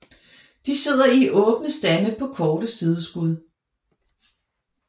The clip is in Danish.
De sidder i åbne stande på korte sideskud